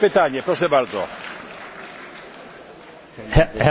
Herr Präsident, ich möchte Ihnen eine technische Beobachtung mitteilen.